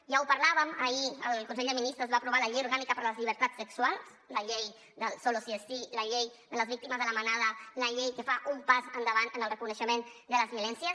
ja ho parlàvem ahir al consell de ministres es va aprovar la llei orgànica per les llibertats sexuals la llei del solo sí es sí la llei de les víctimes de la manada la llei que fa un pas endavant en el reconeixement de les violències